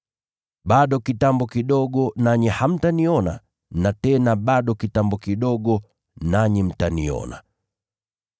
“Bado kitambo kidogo nanyi hamtaniona na tena bado kitambo kidogo nanyi mtaniona.”